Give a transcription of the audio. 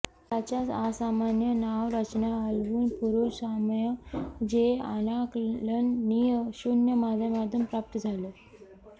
त्याच्या असामान्य नाव रचना हलवून पुरुष साम्य जे अनाकलनीय शून्य माध्यमातून प्राप्त झाले